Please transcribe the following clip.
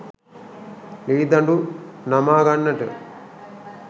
ලී දඬු නමා ගන්නට